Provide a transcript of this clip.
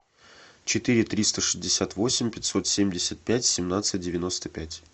четыре триста шестьдесят восемь пятьсот семьдесят пять семнадцать девяносто пять